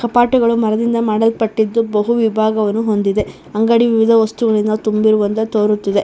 ಕಪಾಟಿಗಳು ಮರದಿಂದ ಮಾಡಲ್ಪಟ್ಟಿದ್ದು ಬಹು ವಿಭಾಗವನ್ನು ಹೊಂದಿದೆ ಅಂಗಡಿ ವಿವಿಧ ವಸ್ತುಗಳಿಂದ ತುಂಬಿರುವಂತೆ ತೋರುತ್ತಿದೆ.